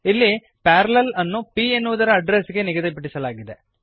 ಇಲ್ಲಿ ಪ್ಯಾರಲ್ಲೆಲ್ ಅನ್ನು p ಎನ್ನುವುದರ ಅಡ್ಡ್ರೆಸ್ ಗೆ ನಿಗದಿಪಡಿಸಲಾಗಿದೆ